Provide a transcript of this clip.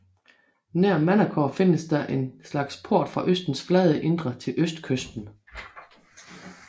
Nær Manacor findes der en slags port fra øens flade indre til østkysten